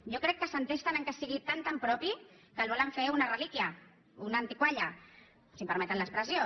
jo crec que s’entesten que sigui tan tan propi que el volen fer una relíquia una antigalla si em permeten l’expressió